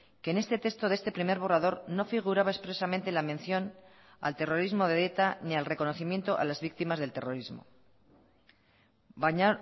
que en este texto de este primer borrador no figuraba expresamente la mención al terrorismo de eta ni al reconocimiento a las víctimas del terrorismo baina